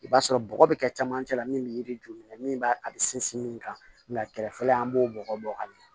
I b'a sɔrɔ bɔgɔ bɛ kɛ camancɛ la min bɛ yiri juɲɛ min b'a a bɛ sinsin min kan nka kɛrɛfɛla an b'o bɔgɔ bɔ a la